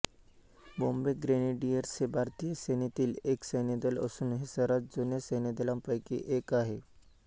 Bombay Grenadiers हे भारतीय सेनेतील एक् सैन्यदल असून हे सर्वात जुन्या सैन्यदलांपैकी एक आहे